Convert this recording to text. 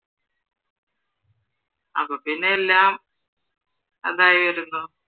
അപ്പൊ പിന്നെ എല്ലാം അതായിരുന്നു